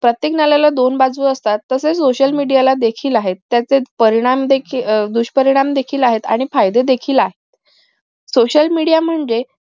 प्रत्येक नाण्याला दोन बाजू असतात तसे social media ला देखील आहेत त्याचे परिणाम देखील दुष्परिणाम देखील आहेत आणि फायदे देखील आहेत social media म्हणजे